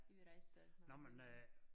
Vi rejser med min mand